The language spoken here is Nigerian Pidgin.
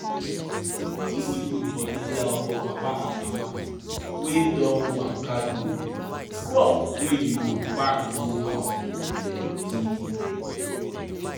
if you put body down for papa and mama wey don waka go crop wey you go pack go house go plenty.